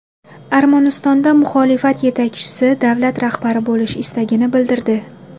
Armanistonda muxolifat yetakchisi davlat rahbari bo‘lish istagini bildirdi.